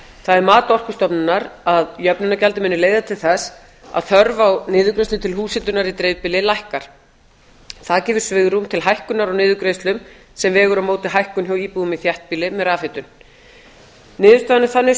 það er mat orkustofnunar að jöfnunargjaldið muni leiða til þess að þörf á niðurgreiðslum til húshitunar í dreifbýli lækkar það gefur svigrúm til hækkunar á niðurgreiðslum sem vegur á móti hækkun hjá íbúum í þéttbýli með rafhitun niðurstaðan er þannig